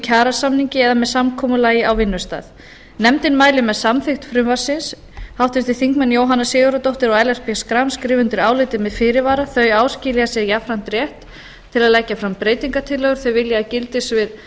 kjarasamningi eða með samkomulagi á vinnustað nefndin mælir með samþykkt frumvarpsins háttvirtir þingmenn jóhanna sigurðardóttir og ellert b schram skrifa undir álitið með fyrirvara þau áskilja sér jafnframt rétt til að leggja fram breytingartillögur þau vilja að gildissvið